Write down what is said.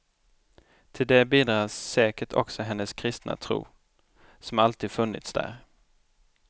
Till det bidrar säkert också hennes kristna tro, som alltid funnits där.